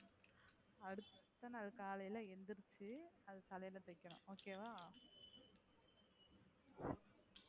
அடுத்த நாள் காலைல எந்திரிச்சி அத தலைல தேய்க்கணும் okay வா,